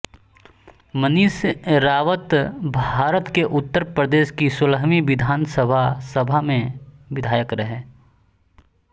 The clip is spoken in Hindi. मनीष रावतभारत के उत्तर प्रदेश की सोलहवीं विधानसभा सभा में विधायक रहे